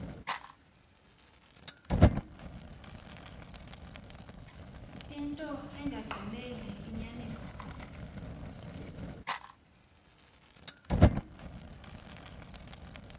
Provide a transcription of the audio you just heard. into engagqineli inyaniso